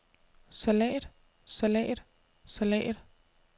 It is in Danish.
salat salat salat